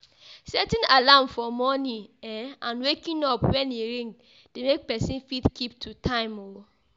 Setting alarm for morning um and waking up when e ring de make persin fit keep to time um